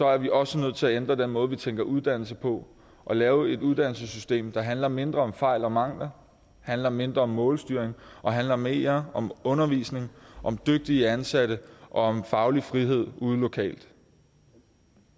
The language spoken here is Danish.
er vi også nødt til at ændre den måde vi tænker uddannelse på og lave et uddannelsessystem der handler mindre om fejl og mangler handler mindre om målstyring og handler mere om undervisning om dygtige ansatte og om faglig frihed ude lokalt